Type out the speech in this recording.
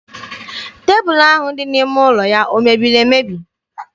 Tebụlụ ahụ dị n'ime ụlọ ya o mebiri emebi?